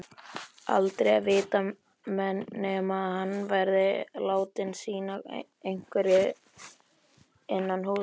Aldrei að vita nema hann verði látinn sinna einhverju innanhúss.